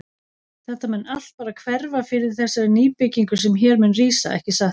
Þetta mun allt bara hverfa fyrir þessari nýbyggingu sem hér mun rísa, ekki satt?